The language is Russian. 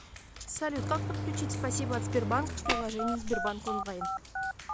салют как подключить спасибо от сбербанка в приложении сбербанк онлайн